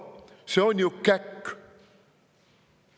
See on ju käkk!